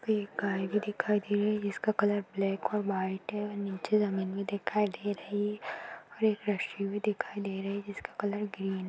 एक गाये भी दिख दे रही है जिसका कलर ब्लैक ऑर व्हाइट है ओर नीचे जमीन भी दिखाई दे रही ओर एक रस्सी भी दिखाई दे रही है जिसका कलर ग्रीन --